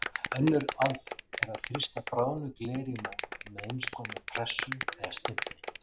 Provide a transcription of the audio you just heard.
Önnur aðferð er að þrýsta bráðnu gleri í mót með eins konar pressu eða stimpli.